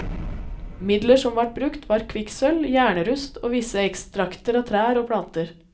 Midler som vart brukt, var kvikksølv, jernrust og visse ekstrakter av trær og planter.